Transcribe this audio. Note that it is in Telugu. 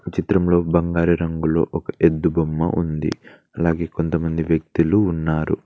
చిత్రంలో బంగారు రంగులో ఒక ఎద్దు బొమ్మ ఉంది అలాగే కొంతమంది వ్యక్తులు ఉన్నారు.